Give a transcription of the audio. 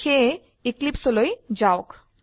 সেয়ে Eclipseলৈ যাওক